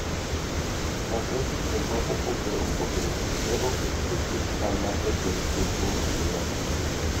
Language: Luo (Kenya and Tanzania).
Chakre chike mopogore opogore ne oketi gi sirikal mar Jatend piny Uhuru Kenyatta